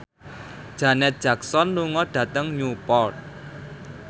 Janet Jackson lunga dhateng Newport